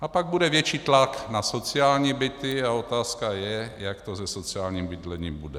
A pak bude větší tlak na sociální byty a je otázka, jak to se sociálním bydlením bude.